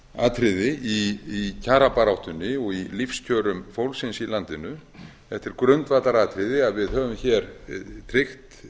atriði í kjarabaráttunni og í lífskjörum fólksins í landinu þetta er grundvallaratriði að við höfum hér tryggt